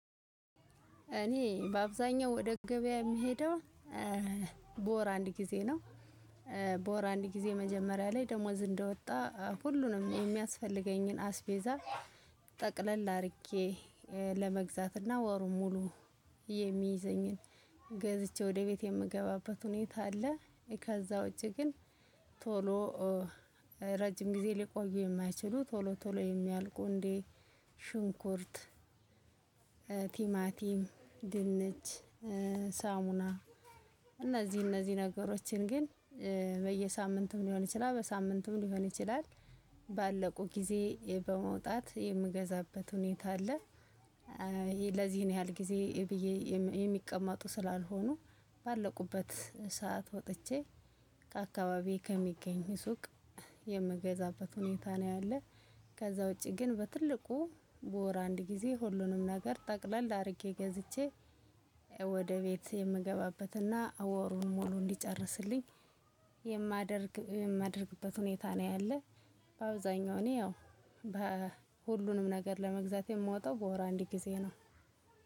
እኔ በአብዛኛው ወደ ገበያ የምሄደው በወር አንድ ጊዜ ነው። በወር አንድ ጊዜ መጀመሪያ ላይ ደሞዝ እንደወጣ ሁሉንም የሚያስፈልገኝን አስቤዛ ጠቅለል አድርጌ ለመግዛትና ወሩ ሙሉ የሚይዘኝን ገዝቼ ወደ ቤት የምገባበት ሁኔታ አለ። ከዛ ውጪ ግን ቶሎ ረጅም ጊዜ ሊቆዩ የማይችሉ ቶሎ ቶሎ የሚያልቁ እንዴ። ሽንኩርት ቲማቲም ድንች ሳሙና እነዚህ እነዚህ ነገሮችን ግን በየሳምንቱም ሊሆን ይችላል በሳምንቱም ሊሆን ይችላል ባለቁ ጊዜ በመውጣት የምገዛበት ሁኔታ አለ። ለዚህን ያህል ጊዜ ብዬ የሚቀመጡ ስላልሆኑ ባለቁበት ሰዓት ወጥቼ ከአካባቢዬ ከሚገኝ ሱቅ የምገዛበት ሁኔታ ነው ያለ። ከዛ ውጪ ግን በትልቁ በወር አንድ ጊዜ ሁሉንም ነገር ጠቅለል አድርጌ ገዝቼ ወደ ቤት የምገባበትና ወሩን ሙሉ እንዲጨርስልኝ የማደርግ የማደርግበት ሁኔታ ነው ያለ። በአብዛኛው እኔ ያው ሁሉንም ነገር ለመግዛት የምወጣው በወር አንድ ጊዜ ነው።